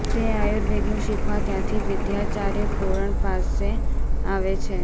તે આર્યુવેદનું શીખવા ત્યાંથી વૈદ્યાચાર્ય પૂરણ પાસે આવે છે